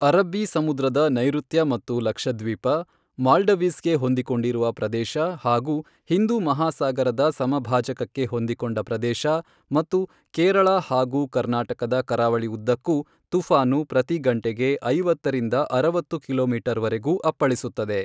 ಅರಬ್ಬೀ ಸಮುದ್ರದ ನೈಋತ್ಯ ಮತ್ತು ಲಕ್ಷದ್ವೀಪ, ಮಾಲ್ಡವೀಸ್ ಗೆ ಹೊಂದಿಕೊಂಡಿರುವ ಪ್ರದೇಶ ಹಾಗೂ ಹಿಂದೂ ಮಹಾಸಾಗರದ ಸಮಭಾಜಕಕ್ಕೆ ಹೊಂದಿಕೊಂಡ ಪ್ರದೇಶ ಮತ್ತು ಕೇರಳ ಹಾಗೂ ಕರ್ನಾಟಕದ ಕರಾವಳಿ ಉದ್ದಕ್ಕೂ ತುಫಾನು ಪ್ರತಿ ಗಂಟೆಗೆ ಐವತ್ತರಿಂದ ಅರವತ್ತು ಕಿಲೋಮೀಟರ್ವರೆಗೂ ಅಪ್ಪಳಿಸುತ್ತದೆ.